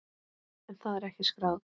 En það er ekki skráð.